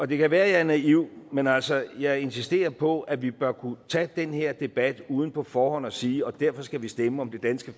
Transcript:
det kan være jeg er naiv men altså jeg insisterer på at vi bør kunne tage den her debat uden på forhånd at sige derfor skal vi stemme om det danske